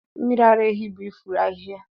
mmiri ara ehi bụ ifuru ahịhịa.